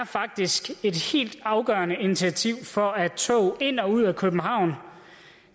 faktisk et helt afgørende initiativ for at tog ind og ud af københavn